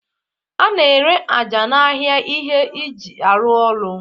A na-ere aja n'ahịa ihe eji arụ ụlọ.